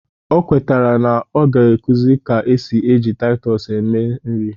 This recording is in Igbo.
O kwetere na ọ ga-akuzi ka esi eji Taịtọs esi nri